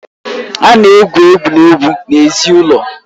A na-egwu egwuregwu n'èzí n'èzí ụlọ